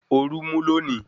Orú mú lonìí